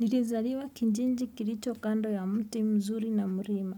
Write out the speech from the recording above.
Nilizaliwa kinjinji kilicho kando ya mti mzuri na murima.